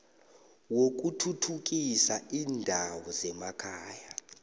wokuthuthukisa iindawo zemakhaya